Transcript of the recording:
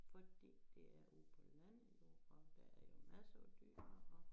Fordi det er ude på landet og der er jo masser af dyr og